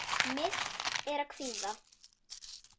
Myrkt er af kvíða.